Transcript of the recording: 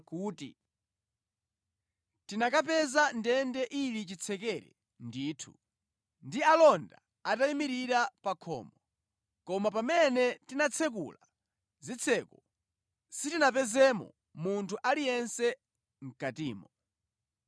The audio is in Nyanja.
kuti, “Tinakapeza ndende ili chitsekere ndithu, ndi alonda atayimirira pa khomo, koma pamene tinatsekula zitseko, sitinapezemo munthu aliyense mʼkatimo.”